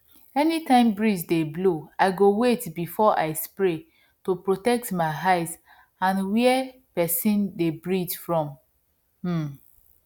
anytime breeze dey blow i go wait before i spray to protect my eye and where person dey breath from um